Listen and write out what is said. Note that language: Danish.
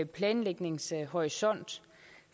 planlægningshorisont